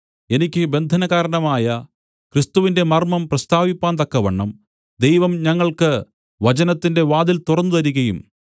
എനിക്ക് ബന്ധനകാരണമായ ക്രിസ്തുവിന്റെ മർമ്മം പ്രസ്താവിപ്പാൻ തക്കവണ്ണം ദൈവം ഞങ്ങൾക്ക് വചനത്തിന്റെ വാതിൽ തുറന്നുതരികയും